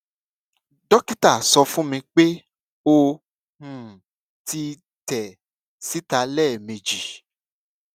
dókítà sọ fún mi pé ó um ti tẹ síta lẹẹmejì